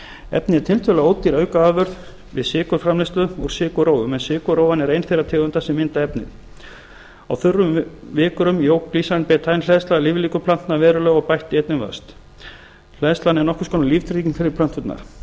efnið er tiltölulega ódýr aukaafurð við sykurfamleiðslu úr sykurrófum en sykurrófan er ein þeirra tegunda sem mynda efnið á þurrum vikrum jók glycine betaine hleðsla líflíkur plantna verulega og bætti einnig vöxt hleðslan er nokkurs konar líftrygging fyrir plönturnar